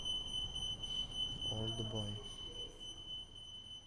олдбой